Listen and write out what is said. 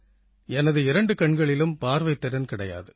என் இரண்டு கண்களிலும் பார்வைத் திறன் கிடையாது